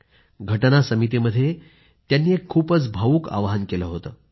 राज्यघटना समितीमध्ये त्यांनी एक खूपच भावूक आवाहन केलं होतं